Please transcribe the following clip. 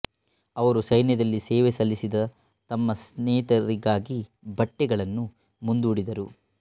ಅವರು ಸೈನ್ಯದಲ್ಲಿ ಸೇವೆ ಸಲ್ಲಿಸಿದ ತಮ್ಮ ಸ್ನೇಹಿತರಿಗಾಗಿ ಬಟ್ಟೆಗಳನ್ನು ಮುಂದೂಡಿದರು